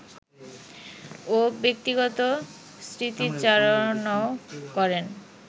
ও ব্যক্তিগত স্মৃতিচারণও করেন